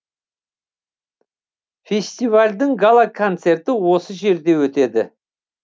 фестивальдің гала концерті осы жерде өтеді